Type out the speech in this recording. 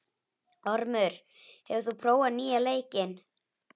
Ormur, hefur þú prófað nýja leikinn?